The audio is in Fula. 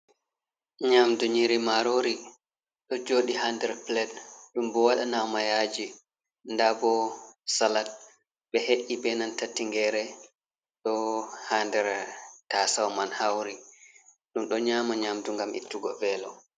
Nyamdu nyiri marori do jodi hander plait dum bo wadanama yaji ,dabo salat be he’i benan tatingere do hander tasau man hauri dum do nyama nyamdu ngam ittugo velo.